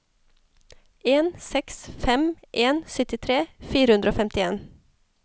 en seks fem en syttitre fire hundre og femtien